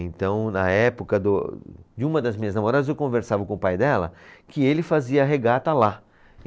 Então, na época do, de uma das minhas namoradas, eu conversava com o pai dela, que ele fazia regata lá.